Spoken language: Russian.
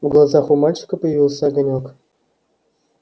в глазах у мальчика появился огонёк